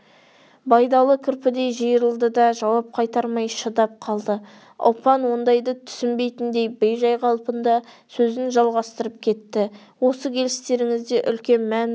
байдалы кірпідей жиырылды да жауап қайтармай шыдап қалды ұлпан ондайды түсінбейтіндей бейжай қалпында сөзін жалғастырып кеттіосы келістеріңізде де үлкен мән бар